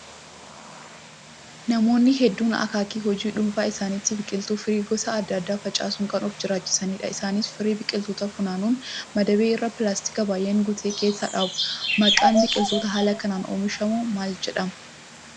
Namoonni hedduun akak hojii dhuunfaa isaaniitti biqiltuu firii gosa adda addaa facaasuun kan of jiraachisanidha. Isaanis firii biqilootaa funaanuun madabii irra pilaastika biyyeen guute keessa dhaabu. Maqaan biqiloota haala kanaan oomishuu maal jedhamaa?